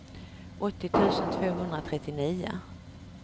åttio tusen tvåhundratrettionio